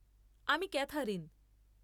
আমি ক্যাথারিন।